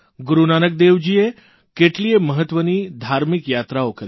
ગુરૂ નાનકદેવજીએ કેટલીયે મહત્વની ધાર્મિક યાત્રાઓ કરી